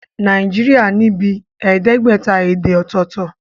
Nàìjíríà ní bíi ẹẹdẹgbẹta èdè ọ̀tọ̀tọ̀